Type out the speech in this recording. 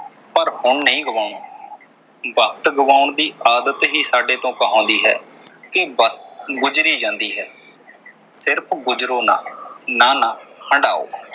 ਪਰ ਹੁਣ ਨਈਂ ਗੁਵਾਉਣਾ, ਵਕਤ ਗਵਾਉਣ ਦੀ ਆਦਤ ਹੀ ਸਾਡੇ ਤੋਂ ਕਹਾਉਂਦੀ ਹੈ ਕਿ ਵਕਤ ਗੁਜ਼ਰੀ ਜਾਂਦੀ ਹੈ ਸਿਰਫ ਗੁਜਰੋ ਨਾ। ਨਾ ਨਾ ਹੰਢਾਓ।